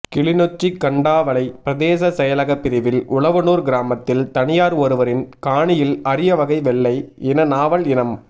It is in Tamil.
கிளிநொச்சி கண்டாவளை பிரதேச செயலக பிாிவில் உழவனூர் கிராமத்தில் தனியார் ஒருவரின் காணியில் அரியவகை வெள்ளை இன நாவல் இனம்